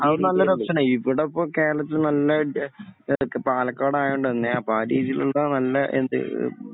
അത് നല്ലൊരു ഓപ്ഷൻ ആണ്. ഇവിടെ ഇപ്പോൾ കേരളത്തിൽ നല്ല എന്തൊക്കെയാ പാലക്കാട് അന്യായ തണുപ്പാണ്. അപ്പോൾ ആ രീതിയിലുള്ള നല്ല എന്ത്